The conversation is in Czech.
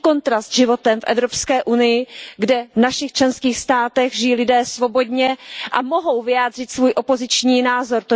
Jaký kontrast s životem v Evropské unii, kde v našich členských státech žijí lidé svobodně a mohou vyjádřit svůj opoziční názor.